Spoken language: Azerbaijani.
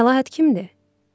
Məlahət kimdir?